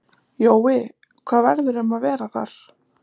Jói, hvað verður um að vera þar?